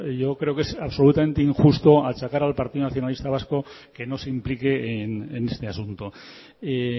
yo creo que es absolutamente injusto achacar al partido nacionalista vasco que no se implique en este asunto y